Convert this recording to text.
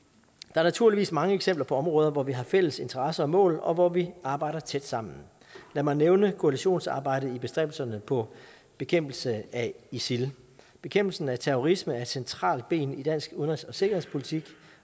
er naturligvis mange eksempler på områder hvor vi har fælles interesser og mål og hvor vi arbejder tæt sammen lad mig nævne koalitionsarbejdet i bestræbelserne på bekæmpelse af isil bekæmpelsen af terrorisme er et centralt ben i dansk udenrigs og sikkerhedspolitik